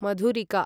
मधुरिका